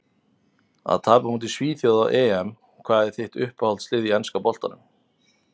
Að tapa á móti svíþjóð á EM Hvað er þitt uppáhaldslið í enska boltanum?